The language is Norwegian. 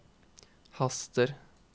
haster